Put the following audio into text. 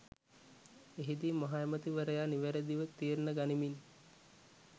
එහිදී මහ ඇමති වරයා නිවැරදිව තීරණ ගනිමින්